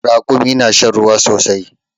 Ragumi na shan ruwa sosai